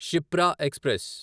Shipra express